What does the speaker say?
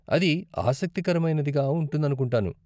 అది ఆసక్తికరమైనదిగా ఉంటుందనుకుంటాను.